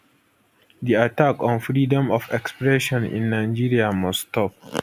di attack on freedom of expression in nigeria must stop